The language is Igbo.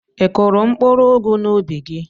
Ị kụrụ mkpụrụ ụgụ n'úbì gị?